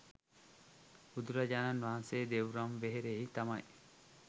බුදුරජාණන් වහන්සේ දෙව්රම් වෙහෙරෙහි තමයි